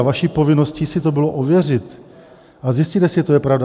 A vaší povinností si to bylo ověřit a zjistit, jestli je to pravda.